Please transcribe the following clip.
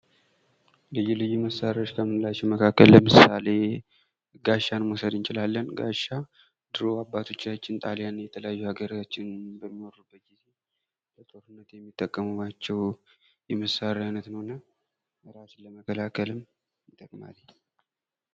ልዩ ልዩ መሳሪያዎች ከምንላቸው ለምሳሌ፦ ጋሻን መውሰድ እንችላለን ጋሻ ድሮ አባቶቻችን ጣሊያንን ለመውጋት የተጠቀሙባቸው ጠላትን ለመከላከል።